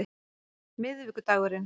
miðvikudagurinn